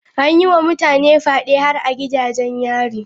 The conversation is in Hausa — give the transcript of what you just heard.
An yi wa mutane fyade har a gidajen yari.